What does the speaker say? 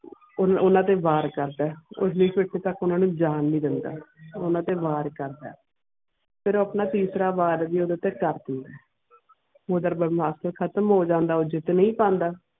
ਓਨਾ ਤੇ ਵਾਰ ਕਰਦਾ ਓਨੀ ਡਾਰੇ ਤਕ ਓਨਾ ਨੂੰ ਜਾਨ ਨਾਈ ਦੇਂਦਾ ਓਨਾ ਤੇ ਵਾਰ ਕਰਦਾ ਫਿਰ ਉਹ ਆਪਣਾ ਤੀਸਰਾ ਵਾਰ ਵੀ ਯੋਧੇ ਤੇ ਕਰਦਿਆਂ ਯੋਧਾ ਬਰਮਾਸ ਹਾਤਿਮ ਹੋ ਜਾਂਦਾ ਉਹ ਜਿੱਤ ਨਾਈ ਪੈਂਦਾ.